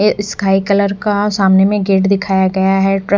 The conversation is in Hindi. ये स्काई कलर का सामने में गेट दिखाया गया है ट्रक --